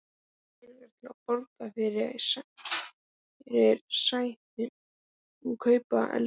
Engir peningar til að borga fyrirsætunum og kaupa eldivið.